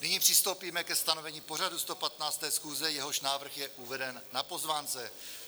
Nyní přistoupíme ke stanovení pořadu 115. schůze, jehož návrh je uveden na pozvánce.